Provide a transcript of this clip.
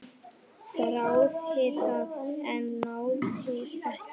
Þráði það, en náði ekki.